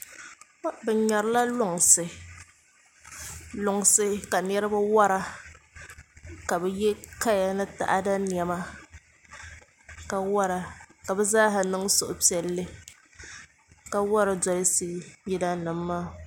Bi ŋmɛrila lunsi ka niraba wora ka bi yɛ kaya ni taada niɛma ka wora ka bi zaaha niŋ suhupiɛlli ka wori dolisi yila nim maa